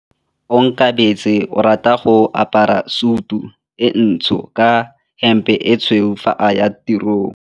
Onkabetse o rata go apara sutu e ntsho ka hempe e tshweu fa a ya tirong.